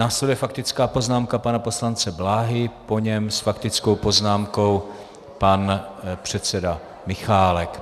Následuje faktická poznámka pana poslance Bláhy, po něm s faktickou poznámkou pan předseda Michálek.